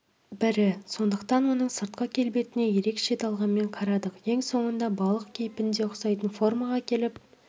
бірі сондықтан оның сыртқы келбетіне ерекше талғаммен қарадық ең соңында балық кейпіне ұқсайтын формаға келіп